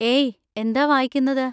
ഏയ്, എന്താ വായിക്കുന്നത്?